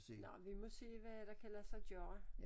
Nåh vi må se hvad der kan lade sig gøre